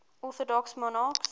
orthodox monarchs